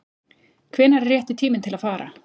Hvenær er rétti tíminn til að fara?